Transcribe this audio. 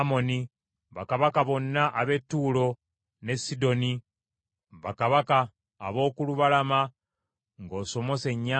bakabaka bonna ab’e Tuulo ne Sidoni, bakabaka ab’oku lubalama ng’osomose ennyanja;